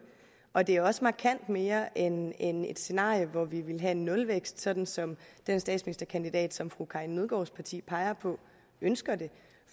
og det er også markant mere end end et scenarie hvor vi ville have nulvækst sådan som den statsministerkandidat som fru karin nødgaards parti peger på ønsker det